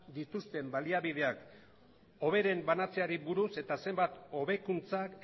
dituzten baliabideak hoberen banatzeari buruz eta zenbat hobekuntzak